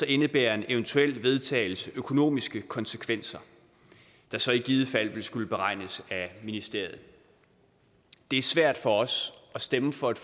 indebærer en eventuel vedtagelse økonomiske konsekvenser der så i givet fald ville skulle beregnes af ministeriet det er svært for os at stemme for et